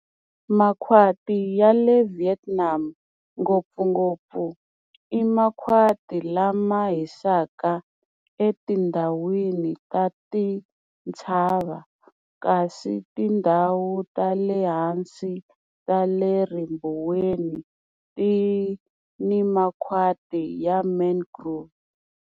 Makhwati ya le Vietnam ngopfungopfu i makhwati lama hisaka etindhawini ta tintshava, kasi tindhawu ta le hansi ta le ribuweni ti ni makhwati ya mangrove.